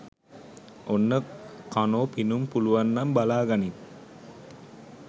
ඔන්න කනො පිනුම් පුලුවන්නම් බලාගනින්